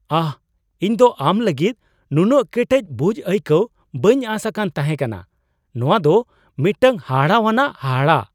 ᱟᱦ! ᱤᱧ ᱫᱚ ᱟᱢ ᱞᱟᱹᱜᱤᱫ ᱱᱩᱱᱟᱹᱜ ᱠᱮᱴᱮᱡ ᱵᱩᱡᱷ ᱟᱹᱭᱠᱟᱹᱣ ᱵᱟᱹᱧ ᱟᱥ ᱟᱠᱟᱱ ᱛᱟᱦᱮᱠᱟᱱᱟ ᱾ ᱱᱚᱣᱟ ᱫᱚ ᱢᱤᱫᱴᱟᱝ ᱦᱟᱦᱟᱲᱟᱣᱟᱱᱟᱜ ᱦᱟᱦᱟᱲᱟ ᱾